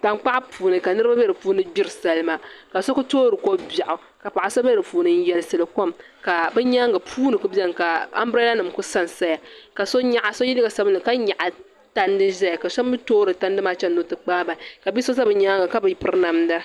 Tankpaɣu puuni ka niriba be dipuuni gbiri salima ka so kuli toori ko'biaɣu ka paɣa so be dipuuni n yelsiri kom ka bɛ nyaanga puuni kuli biɛni ka ambirada nima kuli sansaya ka so ye liiga sabinli ka nyaɣi tandi zaya ka so mee toori tandi maa chena ni o ti kpaagi bahi ka bi'so za bɛ nyaanga ka bi piri namda.